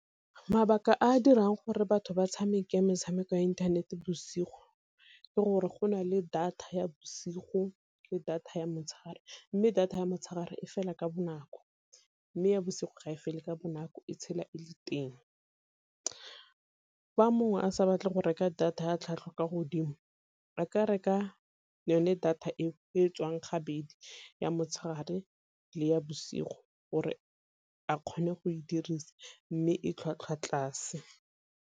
Mabaka a a dirang gore batho ba tshameka metshameko ya inthanete bosigo ke gore go na le data ya bosigo le data ya motshegare, mme data ya motshegare e fela ka bonako mme ya bosigo ga e fele ka bonako e tshela e le teng. Fa mongwe a sa batle go reka data ya tlhwatlhwa kwa godimo a ka reka yone data eo e tswang gabedi ya motshegare le ya bosigo, gore a kgone go e dirisa mme e tlhwatlhwa tlase.